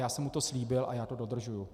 Já jsem mu to slíbil a já to dodržuji.